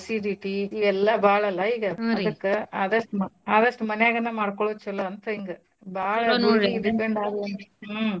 Acidity ಇವೆಲ್ಲಾ ಬಾಳಲ್ಲಾ ಈಗ ಅದ್ಕ ಆದಸ್ಟು ಮ~ ಮನ್ಯಾಗನ ಮಾಡ್ಕೋಳೊದ್ ಚಲೋ ಅಂತ ಹಿಂಗಾ ಬಾಳ ನೋಡ್ರೀ depend ಆದ್ವೇಂದ್ರ ಹ್ಮ್ .